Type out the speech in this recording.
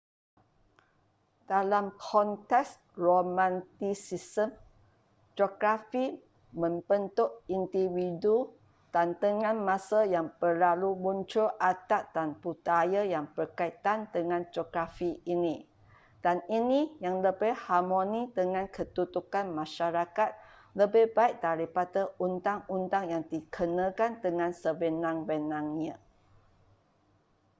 dalam konteks romantisisme geografi membentuk individu dan dengan masa yang berlalu muncul adat dan budaya yang berkaitan dengan geografi ini dan ini yang lebih harmoni dengan kedudukan masyarakat lebih baik daripada undang-undang yang dikenakan dengan sewenang-wenangnya